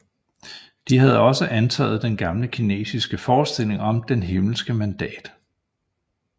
De havde også antaget den gamle kinesiske forestilling om Det himmelske mandat